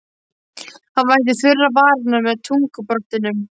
Hann vætti þurrar varirnar með tungubroddinum.